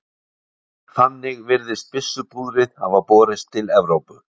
þannig virðist byssupúðrið hafa borist til evrópu